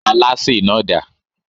Alásè náà dà?